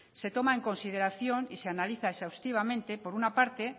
se toma en consideración y se analiza exhaustivamente por una parte